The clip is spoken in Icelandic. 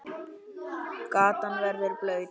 Gatan verður blaut.